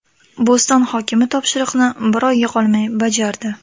Bo‘ston hokimi topshiriqni bir oyga qolmay bajardi.